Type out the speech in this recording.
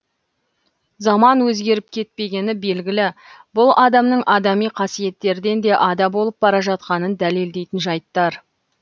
заман өзгеріп кетпегені белгілі бұл адамның адами қасиеттерден де ада болып бара жатқанын дәлелдейтін жайттар